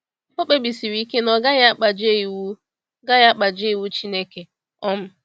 O kpebisiri ike na ọ gaghị akpajie iwu gaghị akpajie iwu Chineke. um